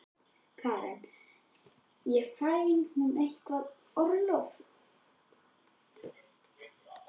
Karen: En fær hún eitthvað orlof?